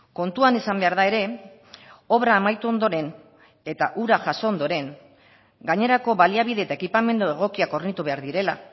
kontuan izan behar da ere obra amaitu ondoren eta hura jaso ondoren gainerako baliabide eta ekipamendu egokiak hornitu behar direla